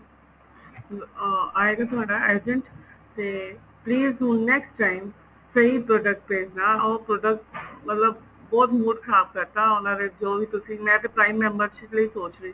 ਅਹ ਇਹ ਜੋ ਤੁਹਾਡਾ agent ਤੇ please ਹੁਣ next time ਸਹੀ product ਭੇਜਣਾ ਉਹ product ਮਤਲਬ ਬਹੁਤ mood ਖਰਾਬ ਕਰਤਾ ਉਹਨਾ ਨੇ ਜੋ ਵੀ ਤੁਸੀਂ ਮੈਂ ਤੇ prime membership ਲਈ ਸੋਚ ਰਹੀ ਸੀ